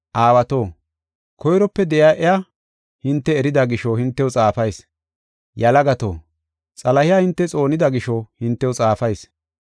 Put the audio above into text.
Aawato, koyrope de7iya, iya hinte erida gisho hintew xaafayis. Yalagato, Xalahiya hinte xoonida gisho hintew xaafayis.